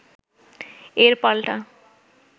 এর পাল্টা